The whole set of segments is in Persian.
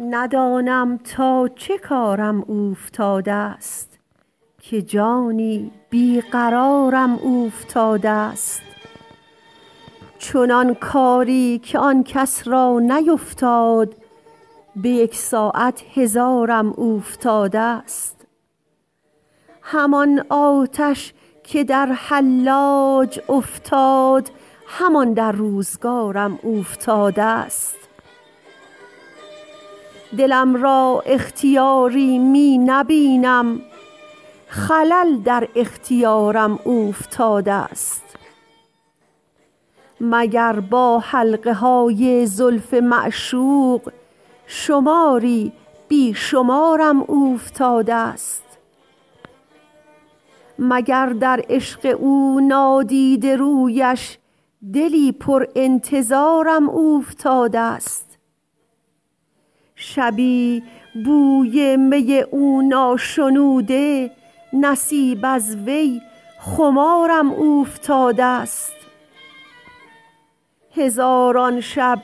ندانم تا چه کارم اوفتادست که جانی بی قرارم اوفتادست چنان کاری که آن کس را نیفتاد به یک ساعت هزارم اوفتادست همان آتش که در حلاج افتاد همان در روزگارم اوفتادست دلم را اختیاری می نبینم خلل در اختیارم اوفتادست مگر با حلقه های زلف معشوق شماری بی شمارم اوفتادست مگر در عشق او نادیده رویش دلی پر انتظارم اوفتادست شبی بوی می او ناشنوده نصیب از وی خمارم اوفتادست هزاران شب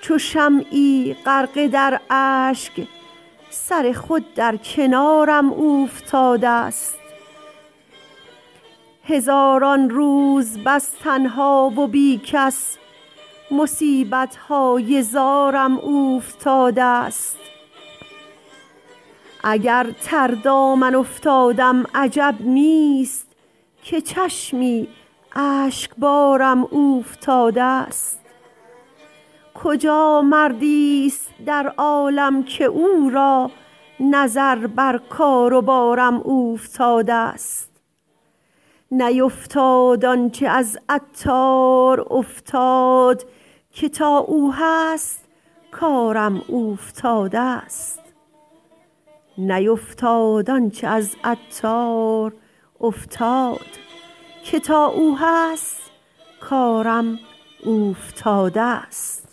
چو شمعی غرقه در اشک سر خود در کنارم اوفتادست هزاران روز بس تنها و بی کس مصیبت های زارم اوفتادست اگر تر دامن افتادم عجب نیست که چشمی اشکبارم اوفتادست کجا مردی است در عالم که او را نظر بر کار و بارم اوفتادست نیفتاد آنچه از عطار افتاد که تا او هست کارم اوفتادست